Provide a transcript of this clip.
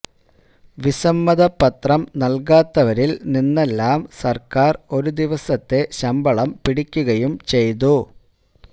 വിസമ്മതപത്രം നല്കാത്തവരില് നിന്നെല്ലാം സര്ക്കാര് ഒരു ദിവസത്തെ ശമ്പളം പിടിക്കുകയും ചെയ്തു